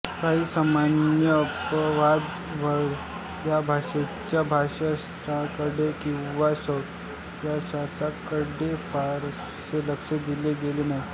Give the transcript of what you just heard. काही सन्मान्य अपवाद वगळता या भाषेच्या भाषाशास्त्राकडे किंवा सौंदर्यशास्त्राकडे फारसे लक्ष दिले गेले नाही